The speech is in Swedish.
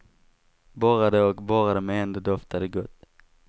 Borrade och borrade men ändå doftade gott.